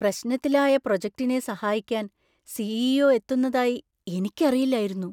പ്രശ്നത്തിലായ പ്രോജെക്ടിനെ സഹായിക്കാൻ C. E. O .എത്തുന്നതായി എനിക്കറിയില്ലായിരുന്നു.